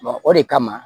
o de kama